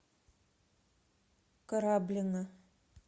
кораблино